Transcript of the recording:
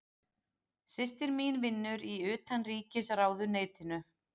Systir mín vinnur í Utanríkisráðuneytinu.